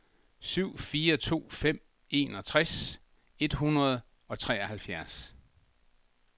syv fire to fem enogtres et hundrede og treoghalvfjerds